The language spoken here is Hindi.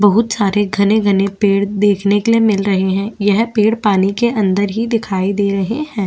बहुत सारे घने-घने पेड़ देखने के लिए मिल रहे है यह पेड़ पानी के अंदर ही दिखाई दे रहे है।